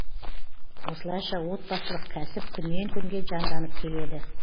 осылайша отбасылық кәсіп күннен күнге жанданып келеді